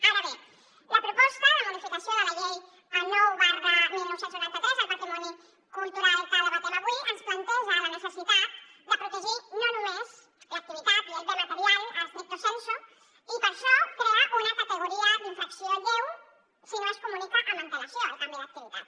ara bé la proposta de modificació de la llei nou dinou noranta tres del patrimoni cultural que debatem avui ens planteja la necessitat de protegir no només l’activitat i el bé material stricto sensu i per això crea una categoria d’infracció lleu si no es comunica amb antelació el canvi d’activitat